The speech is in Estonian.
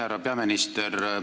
Härra peaminister!